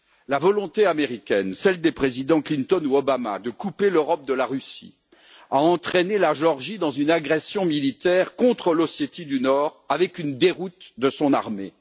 La volonté américaine, celle des présidents Clinton ou Obama, de couper l'Europe de la Russie a entraîné la Géorgie dans une agression militaire contre l'Ossétie du Nord avec une déroute de son armée.